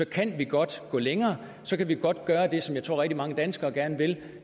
kan vi godt gå længere så kan vi godt gøre det som jeg tror rigtig mange danskere gerne vil